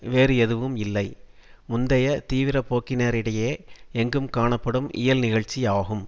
வேறு எதுவும் இல்லை முந்தைய தீவிரப்போக்கினரிடையே எங்கும் காணப்படும் இயல்நிகழ்ச்சி ஆகும்